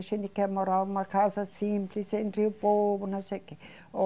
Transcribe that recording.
A gente quer morar numa casa simples, entre o povo, não sei quê.